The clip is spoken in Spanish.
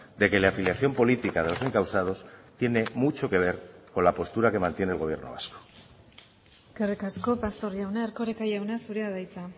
de que la afiliación política de los encausados tiene mucho que ver con la postura que mantiene el gobierno vasco eskerrik asko pastor jauna erkoreka jauna zurea da hitza